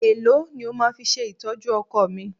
Èló ni o máa fi ṣe ìtọ́jú ọkọ̀ mi?